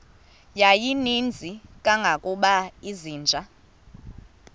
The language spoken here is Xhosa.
yayininzi kangangokuba izinja